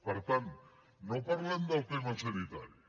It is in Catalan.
per tant no parlem del tema sanitari